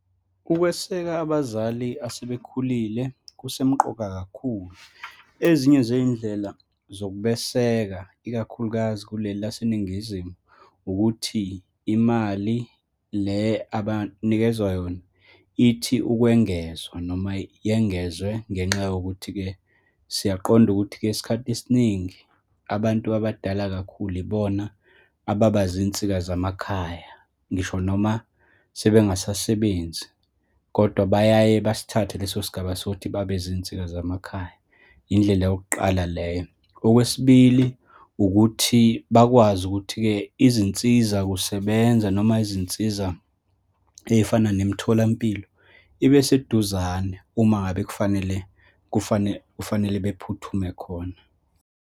Ukweseka abazali asebekhulile kusemqoka kakhulu. Ezinye zey'indlela zokubeseka, ikakhulukazi kuleli laseNingizimu ukuthi, imali le abanikezwa yona, ithi ukwengezwa noma yengezwe. Ngenxa yokuthi-ke, siyaqonda ukuthi-ke isikhathi esiningi abantu abadala kakhulu ibona ababazinsika zamakhaya, ngisho noma sebengasasebenzi, kodwa bayaye basithathe leso sigaba sokuthi babezinsika zamakhaya, indlela yokuqala leyo. Okwesibili, ukuthi bakwazi ukuthi-ke izinsizakusebenza, noma izinsiza ey'fana nemitholampilo ibe seduzane uma ngabe kufanele, kufanele bephuthume khona.